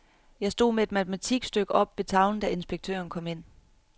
Jeg stod med et matematikstykke oppe ved tavlen, da inspektøren kom ind.